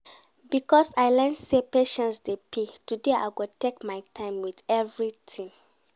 Because I learn sey patience dey pay, today I go take my time wit everytin